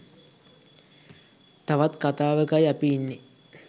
තවත් කතාවකයි අපි ඉන්නේ.